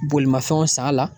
Bolimafɛnw san a la